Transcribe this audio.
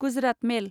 Gujarat मेल